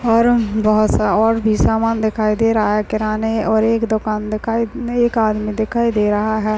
और बहुत सा और भी सामान दिखाई दे रहा है किराने और एक दुकान दिखाई एक आदमी दिखाई दे रहा है।